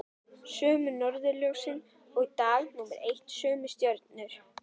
Sömu norðurljós og dag númer eitt, sömu stjörnur.